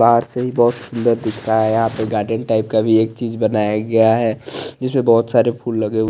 बाहर से ही बोहोत सुन्दर दिख रहा है यहाँ पे गार्डन टाइप का भी एक चीज़ बनाया गया है जिसमे बोहोत सारे फूल लगे हुए --